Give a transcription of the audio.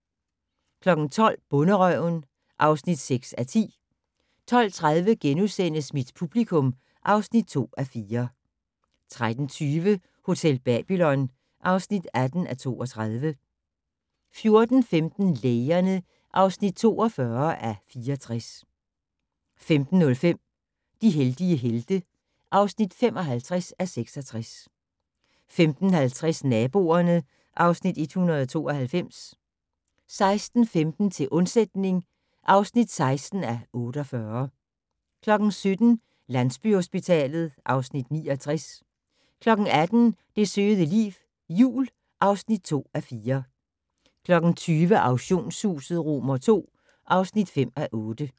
12:00: Bonderøven (6:10) 12:30: Mit publikum (2:4)* 13:20: Hotel Babylon (18:32) 14:15: Lægerne (42:64) 15:05: De heldige helte (55:66) 15:50: Naboerne (Afs. 192) 16:15: Til undsætning (16:48) 17:00: Landsbyhospitalet (Afs. 69) 18:00: Det søde liv - jul (2:4) 20:00: Auktionshuset II (5:8)